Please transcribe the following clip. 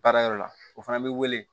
Baara yɔrɔ la o fana bɛ wele